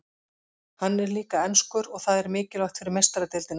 Hann er líka enskur og það er mikilvægt fyrir Meistaradeildina.